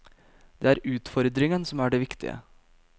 Det er utfordringen som er det viktige.